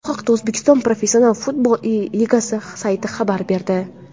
Bu haqda O‘zbekiston professional futbol ligasi sayti xabar berdi .